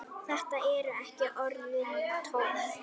Þetta eru ekki orðin tóm.